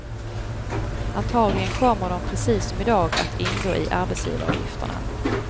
Antagligen kommer de precis som i dag att ingå i arbetsgivaravgifterna.